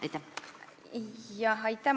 Aitäh!